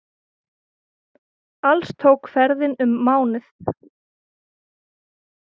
Alls tók ferðin um mánuð.